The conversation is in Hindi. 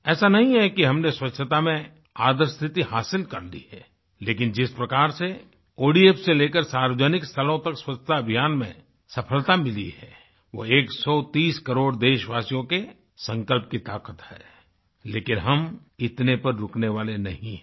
ऐसा नहीं है कि हमने स्वच्छता में आदर्श स्थिति हासिल कर ली है लेकिन जिस प्रकार से ओडीएफ से लेकर सार्वजनिक स्थलों तक स्वच्छता अभियान में सफलता मिली है वो एकसौ तीस करोड़ देशवासियों के संकल्प की ताक़त है लेकिन हम इतने पर रुकने वाले नहीं हैं